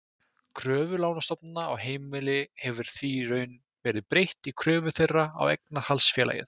Kröfu lánastofnana á heimili hefur því í raun verið breytt í kröfu þeirra á eignarhaldsfélagið.